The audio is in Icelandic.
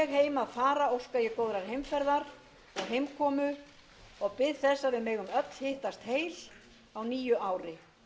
að fara óska ég góðrar heimferðar og heimkomu og bið þess að við megum öll hittast vel á nýju ári